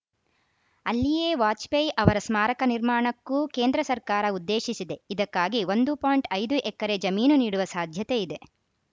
ಅಲ್ಲಿಯೇ ವಾಜಪೇಯಿ ಅವರ ಸ್ಮಾರಕ ನಿರ್ಮಾಣಕ್ಕೂ ಕೇಂದ್ರ ಸರ್ಕಾರ ಉದ್ದೇಶಿಸಿದೆ ಇದಕ್ಕಾಗಿ ಒಂದು ಪಾಯಿಂಟ್ ಐದು ಎಕರೆ ಜಮೀನು ನೀಡುವ ಸಾಧ್ಯತೆ ಇದೆ